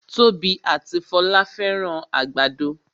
Tobi ati Folá fẹ́ràn àgbàdo